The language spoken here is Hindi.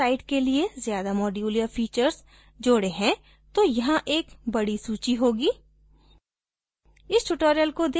यदि हमने अपने site के लिए ज्यादा modules या फीचर्स जोडे हैं तो यहाँ एक बडी सूची होगी